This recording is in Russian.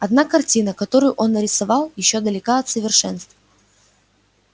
однако картина которую он нарисовал ещё далека от совершенств